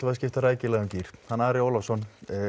að skipta rækilega um gír hann Ari Ólafsson